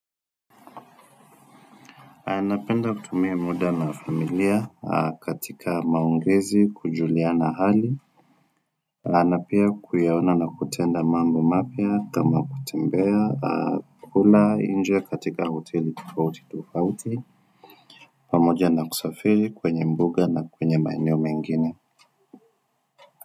Napenda kutumia muda na familia katika maongezi, kujuliana hali. Ama pia kuyaona na kutenda mambo mapya kama kutembea. Kula nje katika hoteli tofauti tofauti. Pamoja na kusafiri kwenye mbuga na kwenye maeneo mengine.